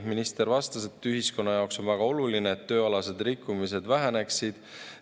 Minister vastas, et ühiskonna jaoks on väga oluline, et tööalased rikkumised väheneksid.